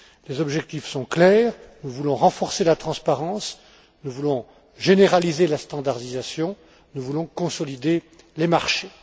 Les objectifs sont clairs nous voulons renforcer la transparence, nous voulons généraliser la standardisation, nous voulons consolider les marchés.